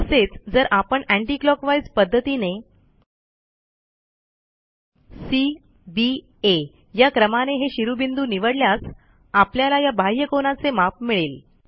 तसेच जर आपण अंती क्लॉकवाईज पध्दतीने सी बी आ या क्रमाने हे शिरोबिंदू निवडल्यास आपल्याला या बाह्यकोनाचे माप मिळेल